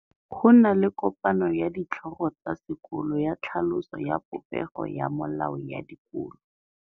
Go na le kopanô ya ditlhogo tsa dikolo ya tlhaloso ya popêgô ya melao ya dikolo.